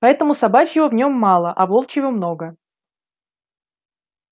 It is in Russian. поэтому собачьего в нем мало а волчьего много